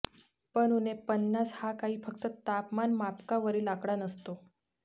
पण उणे पन्नास हा काही फक्त तापमानमापकावरील आकडा नसतो